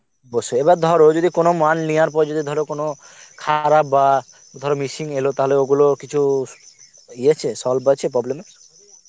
অবশ্যই, এই বার ধর কোনো মাল নেওয়ার পর যদি কোনো ধরো খারাপ বা ধর missing এলো তাহলে ওগুলো কিছু ইয়ে আছে solve আছে problem এর